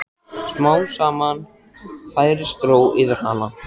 Smám saman færist ró yfir hana.